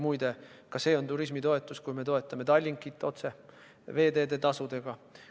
Muide, ka see on turismitoetus, kui me toetame Tallinkit otse veeteetasudega.